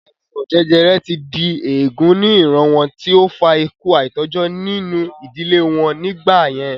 Àìsàn jẹjẹrẹ ti di èègún ní ìran wọn tí ó fa ikú àìtọ́jọ́ nínú ìdílé wọn nígbà yẹn